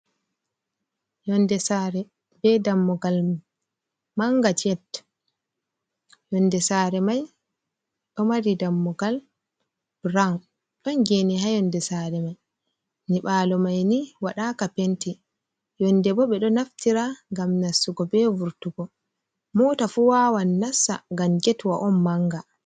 Yonnde saare bee dammugal mum mannga "jet". Yonnde saare may ɗo mari dammugal "burawn", ɗon geene ha yonnde saare may. Nyiɓaalo may ni waɗaaka "penti", yonnde bo ɓe ɗo naftira ngam nassugo bee vurtugo. Moota fu waawan nassa ngam getwa on mannga.